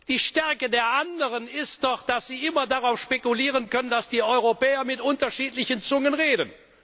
stark. Die Stärke der anderen ist doch, dass sie immer darauf spekulieren können, dass die Europäer mit unterschiedlichen Zungen